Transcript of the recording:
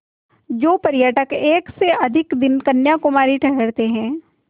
जो पर्यटक एक से अधिक दिन कन्याकुमारी ठहरते हैं